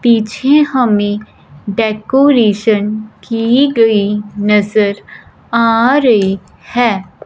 पीछे हमें डेकोरेशन की गई नजर आ रही है।